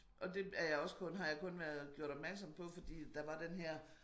Og det er jeg også kun har jeg kun været gjort opmærksom på fordi der var den her